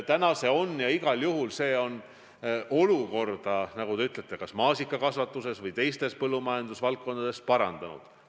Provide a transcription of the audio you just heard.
Täna see on ja igal juhul see on olukorda maasikakasvatuses ja ka mujal põllumajanduses parandanud.